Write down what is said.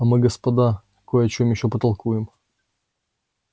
а мы господа кое о чём ещё потолкуем